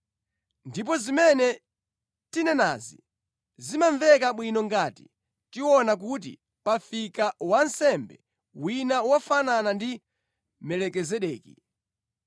Ndipo zimene tanenazi zimamveka bwino ngati tiona kuti pafika wansembe wina wofanana ndi Melikizedeki.